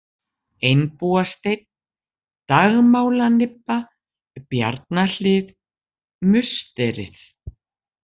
Einbúasteinn, Dagmálanibba, Bjarnahlið, Musterið